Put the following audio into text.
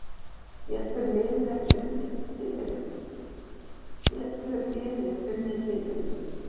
Getur liðið unnið titilinn?